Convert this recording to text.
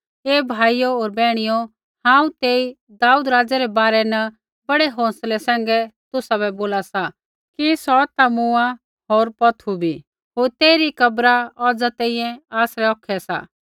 हे भाइयो होर बैहणियो हांऊँ तेई दाऊद राज़ै रै बारै न बड़ै हौंसलै सैंघै तुसाबै बोला सा कि सौ ता मूँआ होर पौथू बी होर तेइरी कब्र औज़ा तैंईंयैं आसरै औखै सा